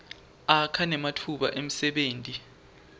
akha nematfuba emsebenti